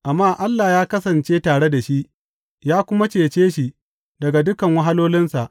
Amma Allah ya kasance tare da shi ya kuma cece shi daga dukan wahalolinsa.